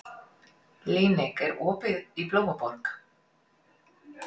Líneik, er opið í Blómaborg?